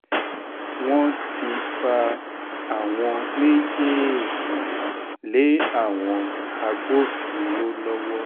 wọ́n ti fa àwọn méjèèjì lé àwọn agbófinró lọ́wọ́